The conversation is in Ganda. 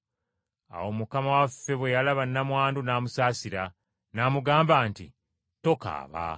Awo Mukama waffe bwe yalaba nnamwandu n’amusaasira, n’amugamba nti, “Tokaaba.”